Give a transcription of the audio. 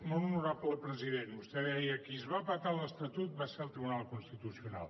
molt honorable president vostè deia qui es va petar l’estatut va ser el tribunal constitucional